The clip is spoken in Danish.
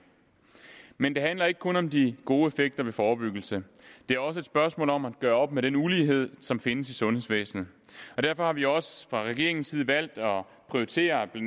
men det handler ikke kun om de gode effekter ved forebyggelse det er også et spørgsmål om at gøre op med den ulighed som findes i sundhedsvæsenet og derfor har vi også fra regeringens side valgt at prioritere ved